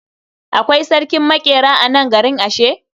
Akwai sarkin maƙera a nan garin ashe?